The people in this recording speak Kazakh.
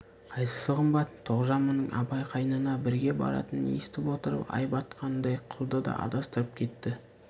қайсысы қымбат тоғжан мұның абай қайнына бірге баратынын естіп отырып ай батқандай қылды да адастырып кетті